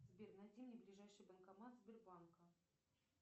сбер найди мне ближайший банкомат сбербанка